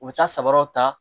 U bɛ taa sabaraw ta